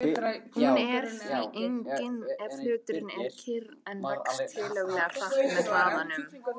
Hún er því engin ef hluturinn er kyrr en vex tiltölulega hratt með hraðanum.